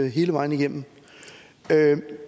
i hele vejen igennem